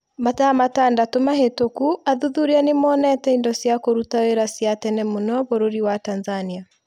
Mathaa matandatũ mahĩtũku athuthuria nĩ monete indo cia kũruta wĩra cia tene mũno bũrũri wa Tanzania.